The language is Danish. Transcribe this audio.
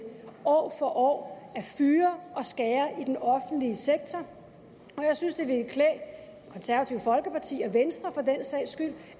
år for år at fyre og skære ned i den offentlige sektor og jeg synes det ville klæde konservative folkeparti og venstre for den sags skyld